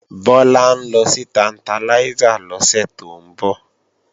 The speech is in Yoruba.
Bọ́lá ń lọ sí Tantalizer lọ́sẹ̀ tó ń bọ̀